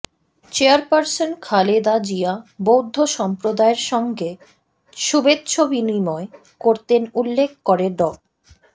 chairperson Khaleda Zia বৌদ্ধ সম্প্রদায়ের সঙ্গে শুভেচ্ছাবিনিময় করতেন উল্লেখ করে ড